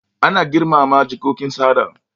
Ana girmama jikokin sada